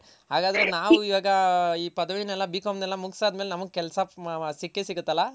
ಹಾಗದ್ರೆ ನಾವು ಇವಾಗ ಇ ಪದವಿನೆಲ್ಲ B.Com ನೆಲ್ಲ ಮುಗ್ಸ್ ಆದ್ಮೇಲೆ ನಮ್ಗ್ ಕೆಲ್ಸ ಸಿಕ್ಕೆ ಸಿಗುತ್ತಲ್ಲ.